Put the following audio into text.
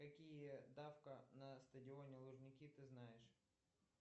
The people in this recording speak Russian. какие давка на стадионе лужники ты знаешь